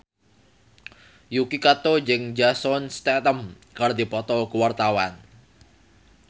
Yuki Kato jeung Jason Statham keur dipoto ku wartawan